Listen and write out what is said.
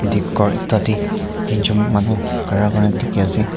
ek ghor ekta tey tinjun manu khara kurina dikhi ase.